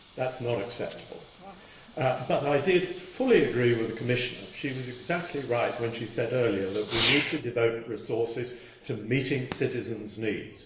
that is not acceptable. But I did fully agree with the Commissioner she was exactly right when she said earlier that we need to devote resources to meeting citizens' needs.